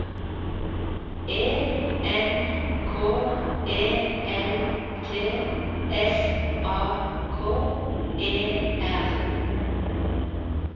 E N K E L T S A K E R